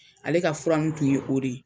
Ale ka fura in tun ye o de ye.